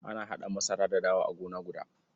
Ana haɗa masara da dawa a gona guda.